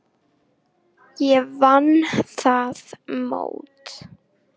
Ég vann það mót.